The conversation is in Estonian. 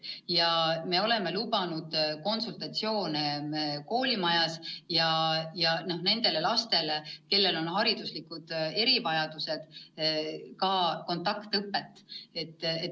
Ja me oleme lubanud konsultatsioone koolimajas nendele lastele, kellel on hariduslikud erivajadused, ka kontaktõpet.